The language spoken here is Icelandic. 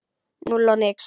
Núll og nix.